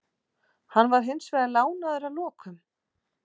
Hann var hins vegar lánaður að lokum.